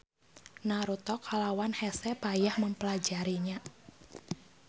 Naruto kalawan hese payah mempelajarinya.